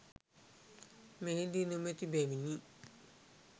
මෙහිදී නොමැති බැවිනි.